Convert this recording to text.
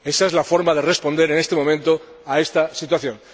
Esa es la forma de responder en este momento a esta situación.